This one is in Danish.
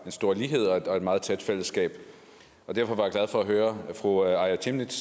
en stor lighed og et meget tæt fællesskab derfor var jeg glad for at høre fru aaja chemnitz